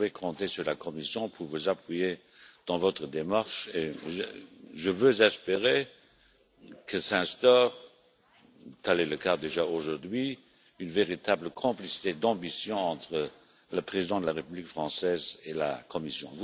Vous pouvez compter sur la Commission pour vous appuyer dans votre démarche et j'espère que s'instaurera, comme c'est déjà le cas aujourd'hui, une véritable complicité d'ambitions entre le Président de la République française et la Commission.